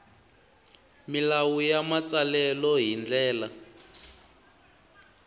milawu ya matsalelo hi ndlela